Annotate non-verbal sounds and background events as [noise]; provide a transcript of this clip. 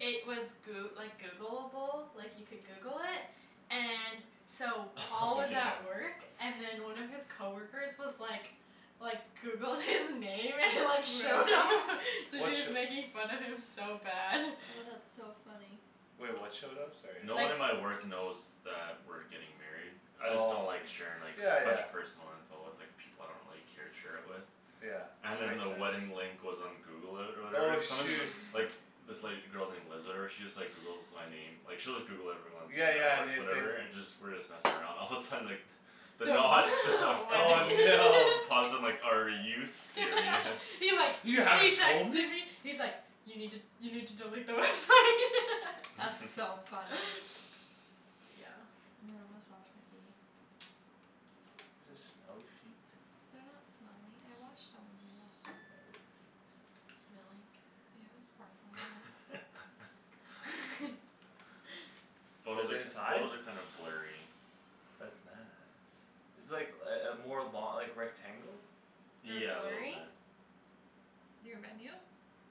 It was Goo- like Googleable, like, you could Google it And so [laughs] Paul Oh, was yeah. at work And then one of his coworkers was like Like, Googled his name and [laughs] like showed up Really? So What sh- just making fun of him so bad. Oh, [noise] that's so funny. Wait, what showed up? Sorry, No I one Like at my work knows that we're getting married. I just don't Oh, like sharing, like, yeah, a bunch yeah. of personal info with, like People I don't really care to share it with. Yeah, And then makes the sense. wedding link was on Google or, or Oh whatever. Someone's shoo- [laughs] Like, this, like, girl named Liz or whatever she Just, like, Googles my name. Like, she'll just Google everyone When Yeah, we're at yeah, work new thing. whatever and just, we're just messing around, all of a sudden, like [laughs] [laughs] The Knot stuff Oh, Wedding no. [laughs] Paused and like, "Are you serious?" [laughs] He, like, he "You haven't told texted me?" me He's like, "You need to, you need to delete the website." [laughs] That's so [laughs] funny. [laughs] Yeah. You wanna massage my feet? Is this smelly feet They're not smelly. I washed them when you're not home. Smelly feet. Smelly You know cat, sparkle a little smelly bit there. cat. [laughs] [laughs] [laughs] Photos Is it are, inside? photos are kinda blurry. That's nice. It's, like, uh uh more lo- like, rectangle? They're Yeah, a little blurry? bit. Your venue?